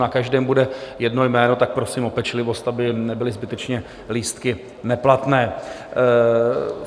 Na každém bude jedno jméno, tak prosím o pečlivost, aby nebyly zbytečně lístky neplatné.